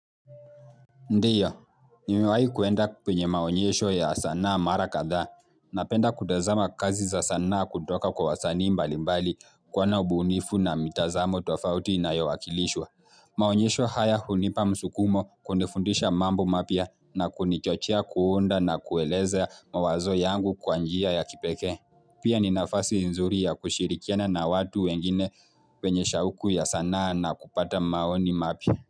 Ndiyo, nimewai kuenda penye maonyesho ya sanaa mara kadha, napenda kutazama kazi za sanaa kutoka kwa wasani mbali mbali kwa na ubunifu na mitazamo tofauti na inayowakilishwa. Maonyesho haya hunipa msukumo kunifundisha mambo mapya na kunichochea kuunda na kueleza mawazo yangu kwanjia ya kipekee. Pia ninafasi nzuri ya kushirikiana na watu wengine wenye shauku ya sanaa na kupata maoni mapya.